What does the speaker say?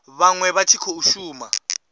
vhaṅwe vha tshi khou shuma